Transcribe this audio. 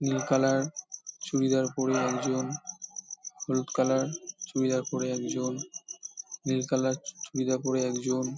নীল colour চুড়িদার পরে একজন হলুদ কালার চুড়িদার পরে একজন নীল কালার চুড়িদার পরে একজন--